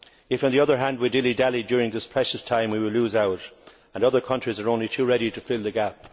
If, on the other hand, we dilly dally during this precious time, we will lose out and other countries will be only too ready to fill the gap.